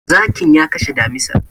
Zakin ya kashe damisar.